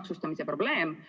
maksustamise probleem.